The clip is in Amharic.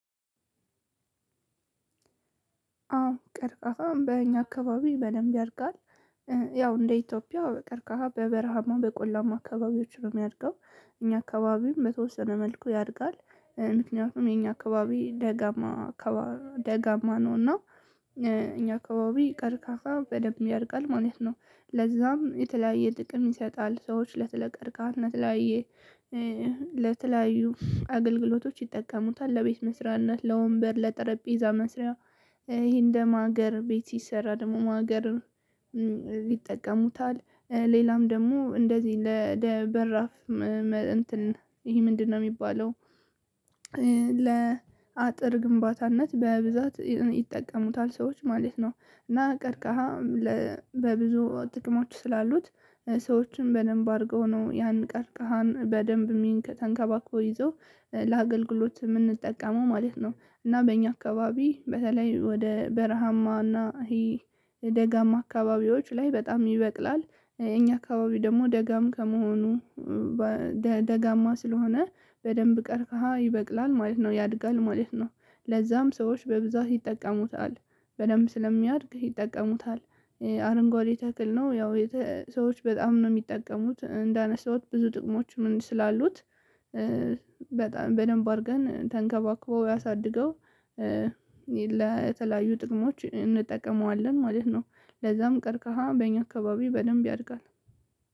አዎ ቀርቃፋ በእኛ አካባቢ በደንብ ያድጋል። ያው እንደ ኢትዮጵያ በቀርካሃ በበረሃማ በቆላማ አካባቢዎች ነው የሚያድገው። እኛ አካባቢም በተወሰነ መልኩ ያድጋል። ምክንያቱም የኛ አካባቢ ደጋማ ደጋማ ነው እና እኛ አካባቢ ቀርከሃ በደንብ ያደርጋል ማለት ነው። ለዛም የተለያየ ጥቅም ይሰጣል ሰዎች ስለ ቀርከሃ ሰለተለያየ ለተለያዩ አገልግሎቶች ይጠቀሙታል ለቤት መስሪያነት ለወንበር ለጠረጴዛ መስሪያ። ይሄ እንደ ማገር ቤት ሲሰራ ደግሞ ማገር ይጠቀሙታል። ሌላም ደግሞ እንደዚህ ለበራፍ እንትን ይሄ ምንድነው የሚባለው? ለአጥር ግንባታነት በብዛት ይጠቀሙታል ሰዎች ማለት ነው። እና ቀርከሃ በብዙ ጥቅሞች ስላሉት ሰዎችም በደንብ አድርገው ነው ያን ቀርከሃን በደንብ የሚንከተንከባክበው ይዘው ለአገልግሎት የምንጠቀመው ማለት ነው። እና በእኛ አካባቢ በተለይ ወደ በረሃማ እና ይሄ ደጋማ አካባቢዎች ላይ በጣም ይበቅላል። እኛ አካባቢ ደግሞ ደጋም ከመሆኑ ደጋማ ስለሆነ በደንብ ቀርከሃ ይበቅላል ማለት ነው ያድጋል ማለት ነው። ለዛም ሰዎች በብዛት ይጠቀሙታል በደንብ ስለሚያድግህ ይጠቀሙታል። አረንጓዴ ተክል ነው። ያው ሰዎች በጣም ነው የሚጠቀሙት እንዳነሳሁት ብዙ ጥቅሞችም ስላሉት በጣም በደንብ አድርገን ተንከባከበው ያሳድገው። ለተለያዩ ጥቅሞች እንጠቀመዋለን ማለት ነው። ለዛም ቀርከሃ በእኛ አካባቢ በደንብ ያድጋል።